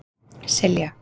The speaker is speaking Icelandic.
Silja